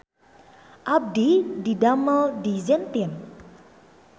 Abdi didamel di Zentin